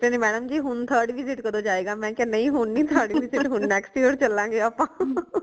madam ਜੀ ਹੁਣ third visit ਕਦੋ ਜਾਏਗਾ ਮੈ ਕਿਆ ਹੁਣ ਨਈ ਹੁਣ third visit ਹੁਣ next year ਚਲਾਂਗੇ ਆਪਾ